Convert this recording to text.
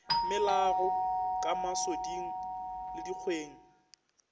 melago ka masoding le dikgweng